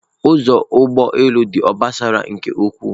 Ụzọ ụgbọ elu dị obosara nke ukwuu